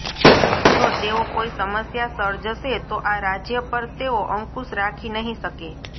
જો તેઓ કોઇ સમસ્યા સર્જશે તો આ રાજ્ય પર તેઓ અંકુશ રાખી નહિ શકે